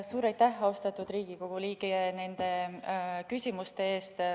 Suur aitäh, austatud Riigikogu liige, nende küsimuste eest!